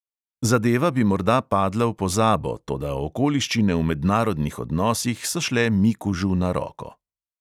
Zadeva bi morda padla v pozabo, toda okoliščine v mednarodnih odnosih so šle mikužu na roko.